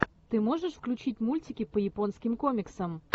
ты можешь включить мультики по японским комиксам